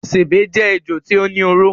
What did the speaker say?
Sèbé jé ejò tí ó ní oró.